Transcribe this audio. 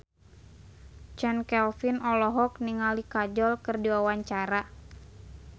Chand Kelvin olohok ningali Kajol keur diwawancara